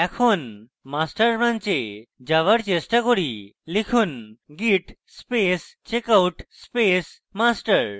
এখন master branch এ যাওযার চেষ্টা করি লিখুন git space checkout space master